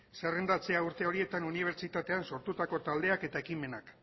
zerrendatzea urte horietan unibertsitatean sortutako taldeak eta ekimenak